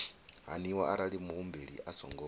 haniwa arali muhumbeli a songo